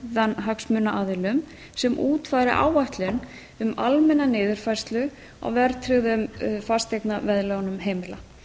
óháðan hagsmunaaðilum sem útfæri áætlun um almenna niðurfærslu á verðtryggðum fasteignaveðlánum heimila